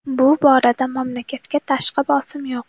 Bu borada mamlakatga tashqi bosim yo‘q.